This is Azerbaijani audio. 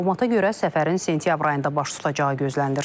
Məlumata görə səfərin sentyabr ayında baş tutacağı gözlənilir.